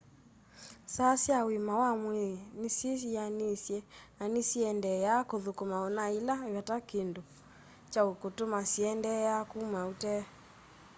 saa sya ũĩma wa mwĩĩ nĩsyĩ yĩanĩĩsye na nĩsiendeeaa kũthũkuma ona yĩla vate kĩndũ kya kũtũma syĩendeea kũma ũtee